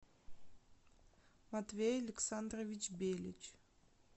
матвей александрович белич